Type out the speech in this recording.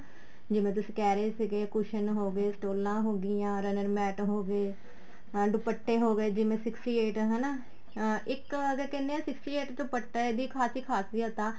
ਜਿਵੇਂ ਤੁਸੀਂ ਕਹਿ ਰਹੇ ਸੀਗੇ cushion ਹੋ ਗਏ ਸਟੋਲਾ ਹੋ ਗਈਆਂ runner mate ਹੋ ਗਏ ਹਾਂ ਦੁਪੱਟੇ ਹੋ ਗਏ ਜਿਵੇਂ sixty eight ਹੈਨਾ ਇੱਕ ਵਾਰ ਤਾਂ ਕਹਿੰਦੇ ਹਾਂ sixty eight ਦੁਪੱਟੇ ਦੀ ਖਾਸੀ ਖਾਸੀਅਤ ਆ